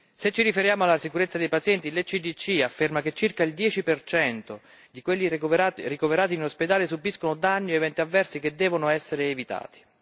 Se ci riferiamo alla sicurezza dei pazienti, l'ECDC afferma che circa il 10 di quelli ricoverati in ospedale subiscono danni o eventi avversi che devono essere evitati.